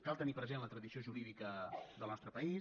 cal tenir present la tradició jurídica del nostre país